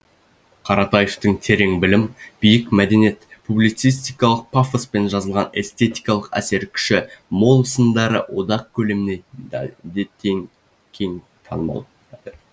қаратаевтың терең білім биік мәдениет публицистикалық пафоспен жазылған эстетикалық әсер күші мол сындары одақ көлеміне де кең танымал